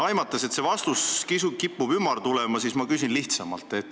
Aimates, et vastus kipub ümar tulema, ma küsin lihtsamalt.